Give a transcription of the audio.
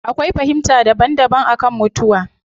Akwai fahimta daban daban akan mutuwa